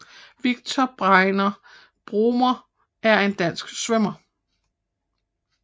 Viktor Bregner Bromer er en dansk svømmer